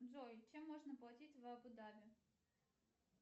джой чем можно платить в абу даби